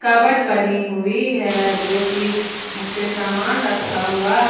Cupboard बने हुए है जो की उसपे सामान रखा हुआ है।